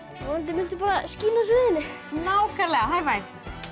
mundu bara að skína á sviðinu nákvæmlega high Five